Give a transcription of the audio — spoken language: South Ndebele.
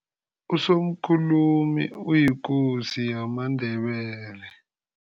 Usomkhulumi uyikosi yamaNdebele.